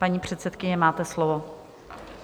Paní předsedkyně, máte slovo.